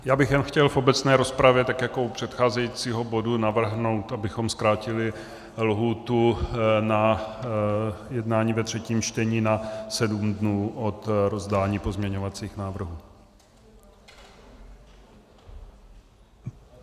Já bych jenom chtěl v obecné rozpravě, tak jako u předcházejícího bodu, navrhnout, abychom zkrátili lhůtu na jednání ve třetím čtení na sedm dnů od rozdání pozměňovacích návrhů.